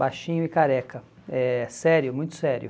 baixinho e careca, é sério, muito sério.